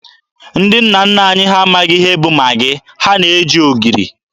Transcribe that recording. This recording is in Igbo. Ndị nna nna anyị ha amaghị ihe bụ Magị, ha na-eji ogiri.